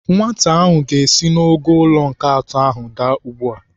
Nwata ahụ ga-esi n'ogo ụlọ nke atọ ahụ adaa ugbu a.